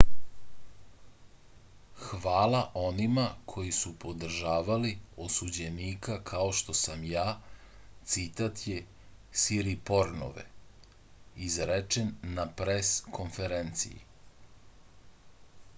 hvala onima koji su podržavali osuđenika kao što sam ja citat je siripornove izrečen na pres konferenciji